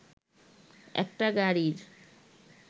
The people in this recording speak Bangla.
একটা গাড়ির